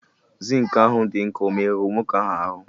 Zinc ahụ dị nkọ o merụrụ nwoke ahụ aru?